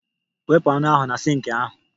Wepụ anụ ahụ na sink ahụ